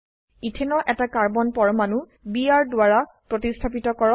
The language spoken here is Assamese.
ইথেনৰ এটা কাৰ্বন পৰমাণু বিআৰ দ্বাৰা প্ৰতিস্থাপিত কৰক